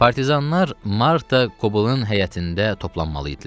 Partizanlar Marta Koblın həyətində toplanmalı idilər.